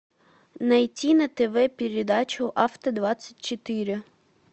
найти на тв передачу авто двадцать четыре